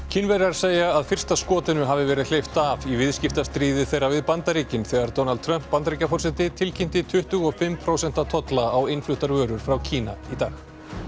Kínverjar segja að fyrsta skotinu hafi verið hleypt af í viðskiptastríði þeirra við Bandaríkin þegar Donald Trump Bandaríkjaforseti tilkynnti tuttugu og fimm prósent tolla á innfluttar vörur frá Kína í dag